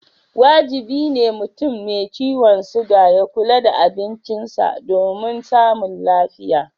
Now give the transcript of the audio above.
Wajibi ne mutum mai ciwon siga ya kula da abincisa domin samun lafiya.